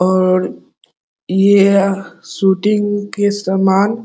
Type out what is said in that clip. और ये शूटिंग के सामान --